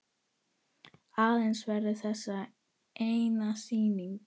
Aðeins verður þessi eina sýning.